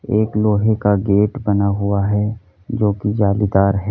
एक लोहे का गेट बना हुआ है जो की जालीदार है।